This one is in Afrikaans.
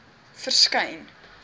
verskyn